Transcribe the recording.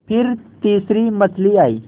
फिर तीसरी मछली आई